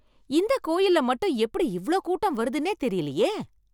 இந்த கோயில்ல மட்டும் எப்படி இவ்ளோ கூட்டம் வருதுன்னே தெரியலேயே!